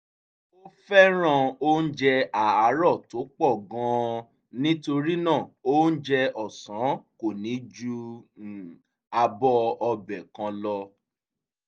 ó fẹ́ràn oúnjẹ àárọ̀ tó pọ̀ gan an nítorí náà oúnjẹ ọ̀sán kò ní ju abọ́ ọbẹ̀ kan lọ